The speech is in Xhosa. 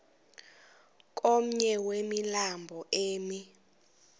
komnye wemilambo emi